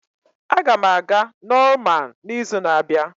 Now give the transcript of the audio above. Aga m aga Norman n'izu na-abịa.